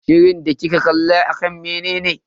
Shirin da kika kalla akan menene?